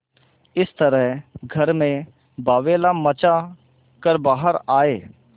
इस तरह घर में बावैला मचा कर बाहर आये